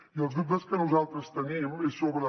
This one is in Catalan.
i els dubtes que nosaltres tenim són sobre